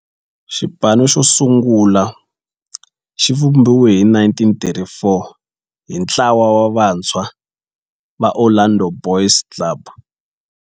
Xipano xosungula xivumbiwile hi 1934 hi ntlawa wa vantshwa va Orlando Boys Club.